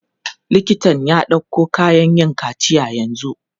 Liktan ya ɗauko kayan yin kaciya yanzu.